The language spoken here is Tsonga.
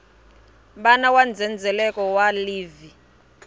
wana wa ndzhendzheleko wa livhi